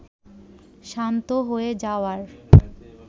শান্ত হয়ে যাওয়ার